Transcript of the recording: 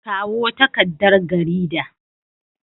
Kawo takardar garida.